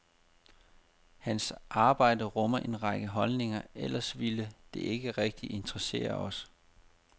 Hans arbejde rummer en række holdninger, ellers ville det ikke rigtig interessere os.